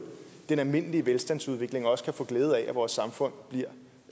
den almindelige velstandsudvikling og også kan få glæde af at vores samfund bliver